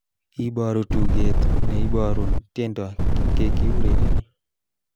Iboru tuget neiborun tiendo kekiurereni